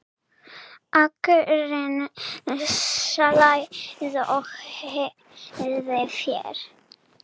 Akurinn slær og hirðir féð.